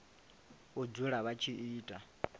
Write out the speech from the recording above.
u dzula vha tshi ita